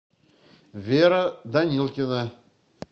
вера данилкина